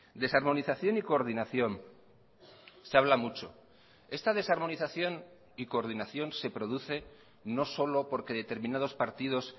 desarmonización y coordinación se habla mucho esta desarmonización y coordinación se produce no solo porque determinados partidos